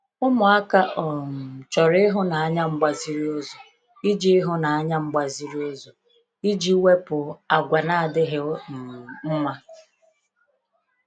Ụmụaka um chọrọ ịhụnanya mgbaziriụzọ iji ịhụnanya mgbaziriụzọ iji wepụ àgwà na-adịghị um mma.